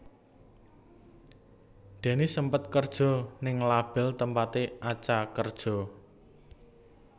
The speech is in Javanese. Dennis sempet kerja ning label tempaté Acha kerja